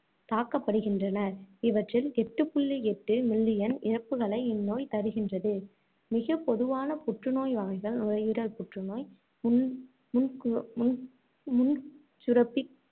தாக்கப்படுகின்றனர். இவற்றில், எட்டு புள்ளி எட்டு million இறப்புக்களை இந்நோய் தருகின்றது. மிகப் பொதுவான புற்று நோய் வகைகள் நுரையீரல் புற்றுநோய், முன்~ முன்~ முன்கோ~ முன்சுரப்பி